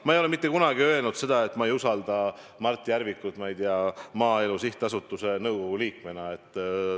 Ma ei ole mitte kunagi öelnud seda, et ma ei usalda Mart Järvikut, ma ei tea, Maaelu Edendamise Sihtasutuse nõukogu liikmena.